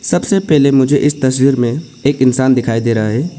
सबसे पहले मुझे इस तस्वीर में एक इंसान दिखाई दे रहा है।